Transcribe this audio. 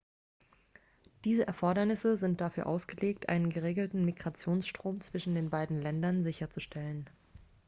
diese erfordernisse sind dafür ausgelegt einen geregelten migrationsstrom zwischen den beiden ländern sicherzustellen